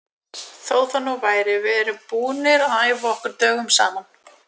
Þó það nú væri, við erum búnir að æfa okkur dögum saman.